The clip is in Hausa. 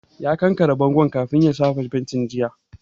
Ya kankare bangon kafin ya shafa fenti jiya